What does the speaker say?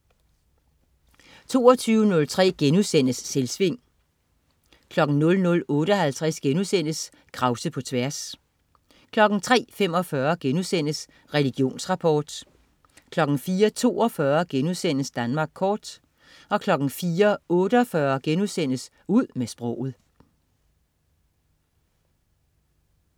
22.03 Selvsving* 00.58 Krause på tværs* 03.45 Religionsrapport* 04.42 Danmark kort* 04.48 Ud med sproget*